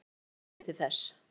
Ég vona að ég fái næði til þess.